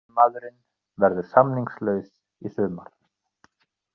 Argentínumaðurinn verður samningslaus í sumar.